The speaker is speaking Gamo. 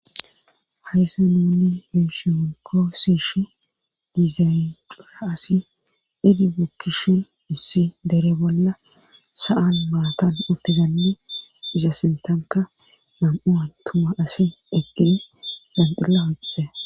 hayssa nuunni yushi woykoo siishi dizayxura asi edi bukkishi issi dere bolla sa7an maatan oppizanni isa sintanka nam7u a tuma asi eqqini zanqilla hoqxe